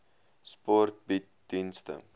sport bied dienste